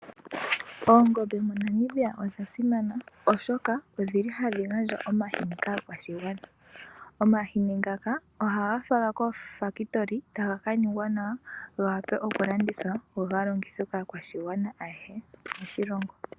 Oongombe moNamibia odhasimana oshoka odhili hadhi gandja omahini kaakwashigwana, omahini ngaka ohaga falwa kooFakitoli taga kaningwa nawa gawape okulandithwa go halongithwe kaakwashigwana ayehe moshilongo.